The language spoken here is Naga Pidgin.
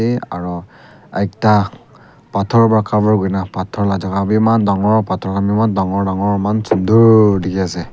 se aro ekta phator pra cover kurina phator la jaka bi aman dangor dangor eman sunder dikhiase.